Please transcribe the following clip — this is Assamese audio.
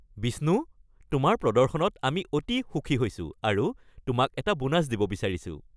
বিষ্ণু, আপোনাৰ প্ৰদৰ্শনত আমি অতি সুখী হৈছো আৰু আপোনাক এটা বোনাছ দিব বিচাৰিছোঁ।